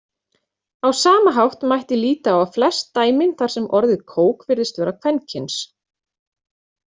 Á sama hátt mætti líta á flest dæmin þar sem orðið kók virðist vera kvenkyns.